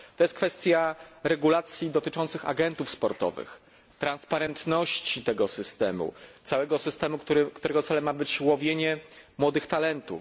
Jest to kwestia regulacji dotyczących agentów sportowych, przejrzystości tego systemu, całego systemu, którego celem ma być łowienie młodych talentów.